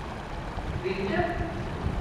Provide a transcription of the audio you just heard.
Vidite?